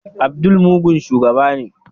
Abdul mugun shugaba ne.